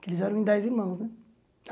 Porque eles eram em dez irmãos, né?